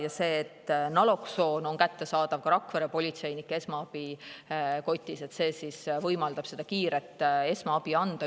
Ja see, et naloksoon on ka Rakvere politseinike esmaabikotis olemas, võimaldab üledoosi korral kiiret esmaabi anda.